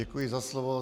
Děkuji za slovo.